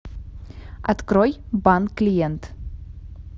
открой банк клиент